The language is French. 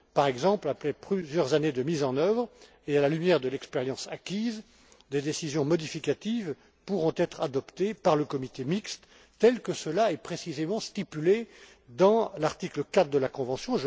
Par exemple, après plusieurs années de mise en œuvre et à la lumière de l'expérience acquise, des décisions modificatives pourront être adoptées par le comité mixte, tel que cela est précisément stipulé à l'article 4 de la convention.